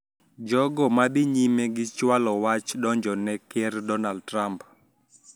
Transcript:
Jogo ma dhi nyime gi chualo wach donjone Ker Donald Trump